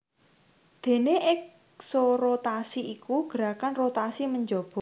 Déné eksorotasi iku gerakan rotasi menjaba